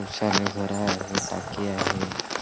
छान नजारा आहे टाकी आहे.